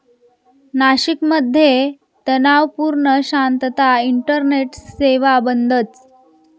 नाशिकमध्ये तणावपूर्ण शांतता, इंटरनेट सेवा बंदच!